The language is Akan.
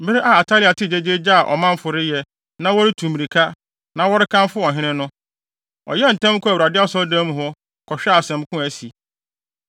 Bere a Atalia tee gyegyeegye a ɔmanfo reyɛ, na wɔretutu mmirika, na wɔrekamfo ɔhene no, ɔyɛɛ ntɛm kɔɔ Awurade asɔredan mu hɔ, kɔhwɛɛ asɛm ko a asi.